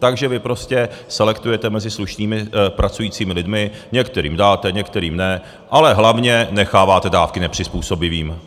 Takže vy prostě selektujete mezi slušnými pracujícími lidmi, některým dáte, některým ne, ale hlavně necháváte dávky nepřizpůsobivým.